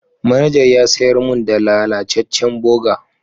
Manajar ya sayar mun da lallacecen burger.